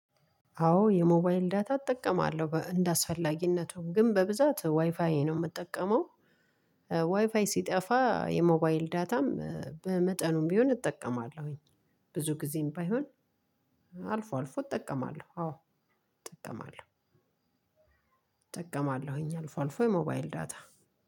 አዎ የሞባይል ዳታ እጠቀማለሁ እንደአስፈላጊነቱም ግን በብዛት ዋይፋዬ ነው የምጠቀመው። ዋይፋይ ሲጠፋ የሞባይል ዳታም በመጠኑም ቢሆን እጠቀማለሁኝ። ብዙ ጊዜም ባይሆን አልፎ አልፎ እጠቀማለሁ። አዎ እጠቀማለሁ። እጠቀማለሁኝ አልፎ አልፎ የሞባይል ዳታ